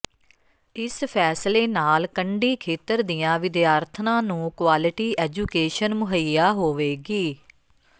ਇਸ ਫ਼ੈਸਲੇ ਨਾਲ ਕੰਢੀ ਖੇਤਰ ਦੀਆਂ ਵਿਦਿਆਰਥਣਾਂ ਨੂੰ ਕੁਆਲਿਟੀ ਐਜੂਕੇਸ਼ਨ ਮੁਹੱਈਆ ਹੋਵੇਗੀ